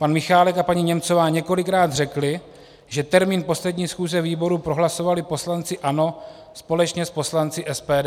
Pan Michálek a paní Němcová několikrát řekli, že termín poslední schůze výboru prohlasovali poslanci ANO společně s poslanci SPD.